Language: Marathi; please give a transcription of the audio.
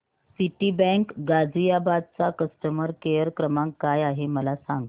सिटीबँक गाझियाबाद चा कस्टमर केयर क्रमांक काय आहे मला सांग